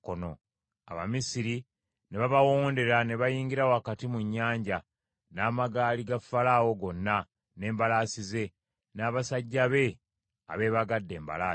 Abamisiri ne babawondera ne bayingira wakati mu nnyanja n’amagaali ga Falaawo gonna, n’embalaasi ze, n’abasajja be abeebagadde embalaasi.